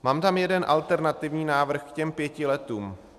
Mám tam jeden alternativní návrh k těm pěti letům.